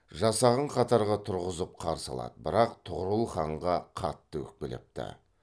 жасағын қатарға тұрғызып қарсы алады бірақ тұғырыл ханға қатты өкпелепті